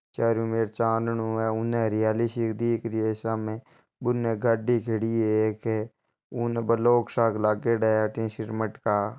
चारोंमेर चाँदनो है उने हरियाली सी दिख रही है सामे बुन गाड़ी खड़ी है उन ब्लोक सा लागियोडा है अठिन सीमट का--